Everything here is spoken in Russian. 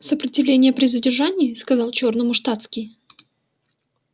сопротивление при задержании сказал чёрному штатский